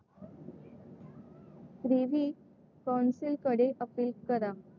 Privy council कडे appeal करा.